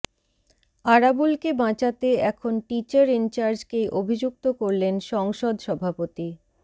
আরাবুলকে বাঁচাতে এখন টিচার ইনচার্জকেই অভিযুক্ত করলেন সংসদ সভাপতি